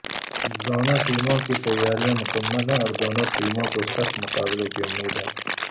دونوں ٹیموں کی تیاریاں مکمل ہیں اور دونوں ٹیموں کو سخت مقابلے کی امید ہے